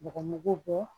Bɔgɔmugu bɔ